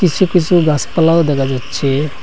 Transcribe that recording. কিসু কিসু গাসপালাও দেখা যাচ্ছে।